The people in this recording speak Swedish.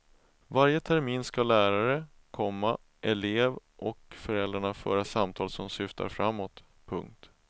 Varje termin ska lärare, komma elev och föräldrar föra samtal som syftar framåt. punkt